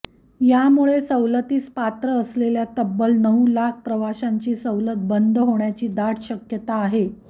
यामुळे सवलतीस पात्र असलेल्या तब्बल नऊ लाख प्रवाशांची सवलत बंद होण्याची दाट शक्यता आहे